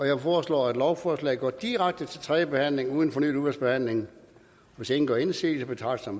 jeg foreslår at lovforslaget går direkte til tredje behandling uden fornyet udvalgsbehandling hvis ingen gør indsigelse betragter